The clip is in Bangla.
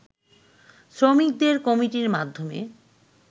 শ্রমিকদের কমিটির মাধ্যমে